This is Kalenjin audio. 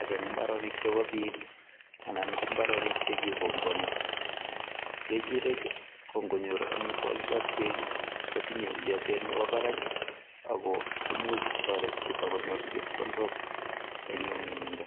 ak imbarenik chebo biik anan ko imbarenik chekikombwani kechirek ko ngonyor omitwokik ak beek kotinyei iotet nebo barak Ako imuch kotoreti chito konyor chepkondok eng nyumnyumindo